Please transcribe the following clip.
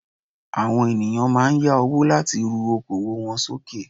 Àwọn ènìyàn máa n yá owó láti ru okoòwò won sókè